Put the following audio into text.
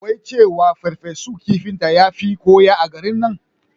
Wai cewa akayi ferfesun kifinta yafi na koya a garin nan